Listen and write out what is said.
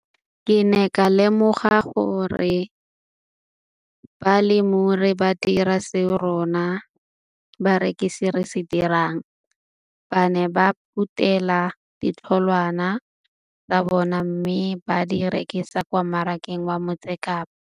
Ke ne ka lemoga gape gore balemirui ba dira seo rona barekisi re se dirang - ba ne ba phuthela ditholwana tsa bona mme ba di rekisa kwa marakeng wa Motsekapa.